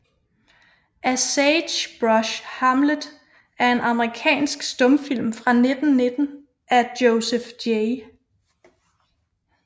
A Sage Brush Hamlet er en amerikansk stumfilm fra 1919 af Joseph J